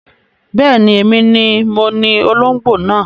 Bẹ́ẹ̀ni, èmi ni moní olóngbó náà